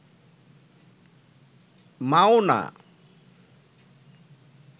মাও না